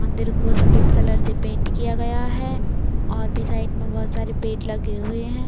मंदिर को सफ़ेद कलर से पेंट किया गया है और भी साइड मर बहुत सारे पेट लगे हुए है।